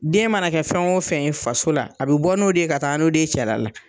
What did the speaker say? Den mana kɛ fɛn o fɛn ye faso la, a bɛ bɔ n'o de ye ka taa n'o de ye cɛla la.